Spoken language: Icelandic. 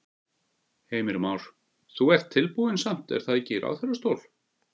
Heimir Már: Þú ert tilbúinn samt er það ekki í ráðherrastól?